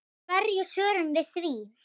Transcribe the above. Hverju svörum við því?